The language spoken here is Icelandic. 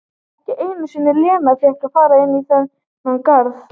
Ekki einu sinni Lena fékk að fara inn í þann garð.